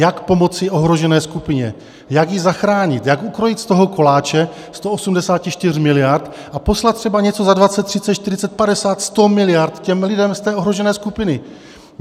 Jak pomoci ohrožené skupině, jak ji zachránit, jak ukrojit z toho koláče 184 miliard a poslat třeba něco za 20, 30, 40, 50, 100, miliard těm lidem z té ohrožené skupiny.